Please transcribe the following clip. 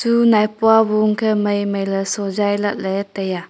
du maipua bu khe mai mailey sojai lahley taiya.